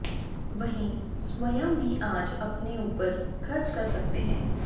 वहीं स्वंय भी आज अपने ऊपर खर्च कर सकते हैं